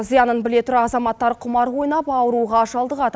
зиянын біле тұра азаматтар құмар ойнап ауруға шалдығады